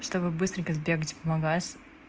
чтобы быстренько сбегать в магазин